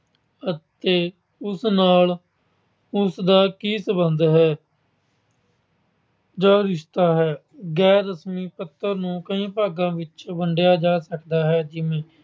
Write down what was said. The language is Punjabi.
ਅਤੇ ਉਸ ਨਾਲ ਉਸਦਾ ਕੀ ਸਬੰਧ ਹੈ ਜਾਂ ਰਿਸ਼ਤਾ ਹੈ। ਗੈਰ-ਰਸਮੀ ਪੱਤਰ ਨੂੰ ਕਈ ਭਾਗਾਂ ਵਿੱਚ ਵੰਡਿਆ ਜਾ ਸਕਦਾ ਹੈ ਜਿਵੇਂ